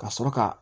Ka sɔrɔ ka